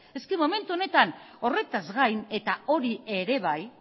ez momentu honetan horretaz gain eta hori ere bai